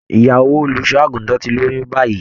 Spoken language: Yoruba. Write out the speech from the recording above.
Ìyàwó olùṣọ àgùntàn tí lóyún báyìí.